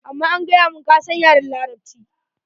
Amma an gaya mun, ka san yaran Larabci.